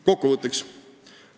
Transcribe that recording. Kokkuvõtteks.